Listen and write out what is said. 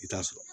I t'a sɔrɔ